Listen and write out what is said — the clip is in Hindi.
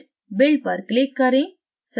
फिर build पर click करें